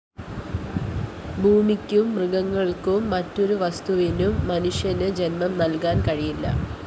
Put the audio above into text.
ഭൂമിക്കും മൃഗങ്ങള്‍ക്കും മറ്റൊരു വസ്തുവിനും മനുഷ്യന് ജന്മം നല്‍കാന്‍ കഴിയില്ല